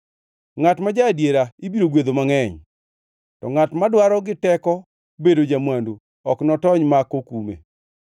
Ngʼat ma ja-adiera ibiro gwedho mangʼeny, to ngʼat madwaro gi teko bedo ja-mwandu ok notony ma ok okume.